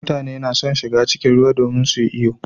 Mutane suna shiga cikin ruwa domin su yi iyo.